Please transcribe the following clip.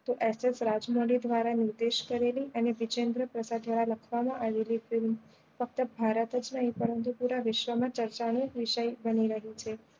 તો SS Rajamouli દ્વારા નિર્દેશ કરેલી અને વિજેન્દ્ર પ્રસાદ દ્વારા લખવા માં આવેલી film ફક્ત ભારત માં નહી પરંતુ પુરા વિશ્વ માં ચર્ચા નો વિષય બની રહ્યો છે